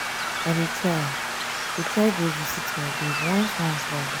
i dey try dey try go visit my babe once once for abuja.